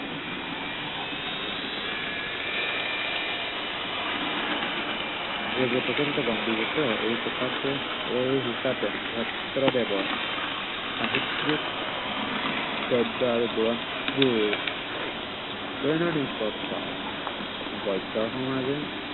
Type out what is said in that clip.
প্ৰচলিত এই কথাকে এই হিচাপে ভট্টদেৱৰ সাহিত্য়িক গদ্য় আৰু বুৰঞ্জীৰ, দৈনন্দিন বিকশিত গদ্য় সমাজে